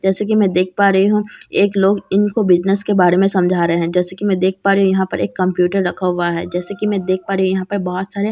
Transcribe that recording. जैसे कि मैं देख पा रही हूं एक लोग इनको बिजनेस के बारे में समझा रहे हैं जैसे कि मैं देख पा रही हूं यहां पर एक कम्प्यूटर रखा हुआ है जैसा कि मैं देख पा रही हूं यहां पर बहुत सारे कॉपी --